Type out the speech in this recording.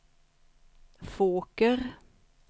Fåker